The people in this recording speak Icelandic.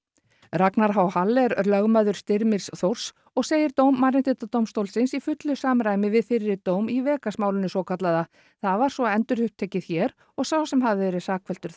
Ragnar h Hall er lögmaður Styrmis Þórs og segir dóm Mannréttindadómstólsins í fullu samræmi við fyrri dóm í Vegas málinu svokallaða það var svo endurupptekið hér og sá sem hafði verið sakfelldur